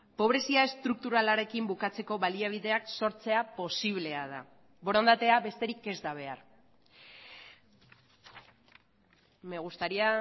pobrezia estrukturalarekin bukatzeko baliabideak sortzea posiblea da borondatea besterik ez da behar me gustaría